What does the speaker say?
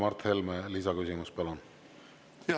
Mart Helme, lisaküsimus, palun!